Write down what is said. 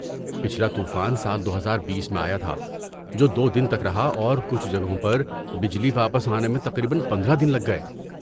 پچھلا طوفان سال دو ہزار بیس میں آیا تھا، جو دو دن تک رہا اور کچھ جگہوں پر بجلی واپس آنے میں تقریباً پندرہ دن لگ گئے